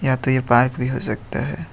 या तो ये पार्क भी हो सकता है।